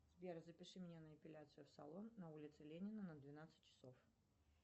сбер запиши меня на эпиляцию в салон на улице ленина на двенадцать часов